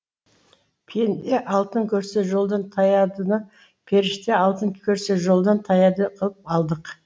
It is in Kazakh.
пенде алтын көрсе жолдан таядыны періште алтын көрсе жолдан таяды қылып алдық